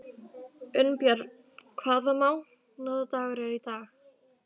Unnbjörn, hvaða mánaðardagur er í dag?